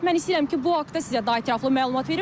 Mən istəyirəm ki, bu haqda sizə daha ətraflı məlumat verim.